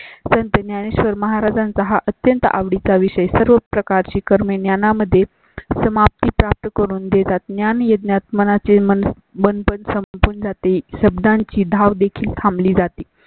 संत ज्ञानेश्वर महाराजांचा हा अत्यंत आवडी चा विषय. सर्व प्रकारची कर्मे ज्ञाना मध्ये समाप्ती प्राप्त करून देतात. ज्ञानयज्ञात मनाची मन पण संपून जाते. शब्दांची धाव देखील थांबली जाते